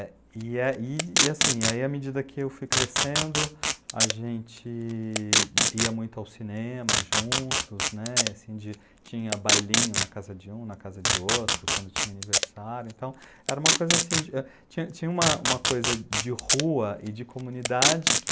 E, e assim, à medida que eu fui crescendo, a gente ia muito ao cinema juntos, né, assim tinha bailinho na casa de um, na casa de outro, quando tinha aniversário, então era uma coisa assim, tinha uma coisa de rua e de comunidade que